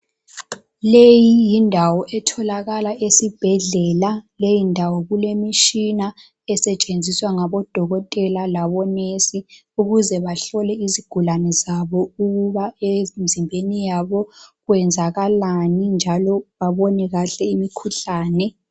leyi yindawo etholakala esibhedlela leyindawo kulemitshina esetshenziswa ngabodokotela labo nurse ukuze bahlole izigulane zabo ukuba emzimbeni yabo kwenzakalani njalo babone kahle imikhuhlane